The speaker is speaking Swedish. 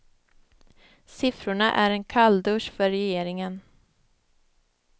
Siffrorna är en kalldusch för regeringen.